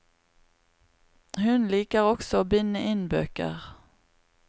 Hun liker også å binde inn bøker.